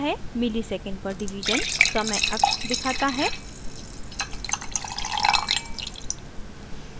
msec/div milli second/division समय अक्ष axis दिखाता है